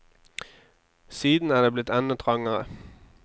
Siden er det blitt enda trangere.